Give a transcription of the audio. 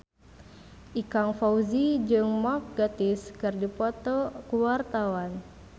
Ikang Fawzi jeung Mark Gatiss keur dipoto ku wartawan